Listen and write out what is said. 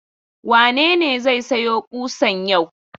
Wane ne zai sayo ƙusan yau?